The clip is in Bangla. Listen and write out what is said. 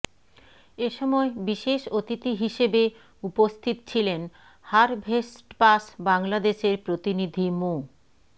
এ সময় বিশেষ অতিথি হিসেবে উপস্থিত ছিলেন হারভেস্টপাস বাংলাদেশের প্রতিনিধি মো